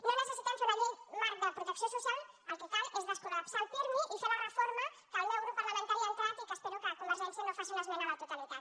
no necessitem fer una llei marc de protecció social el que cal és descol·lapsar el pirmi i fer la reforma que el meu grup parlamentari ha entrat i que espero que convergència no hi faci una esmena a la totalitat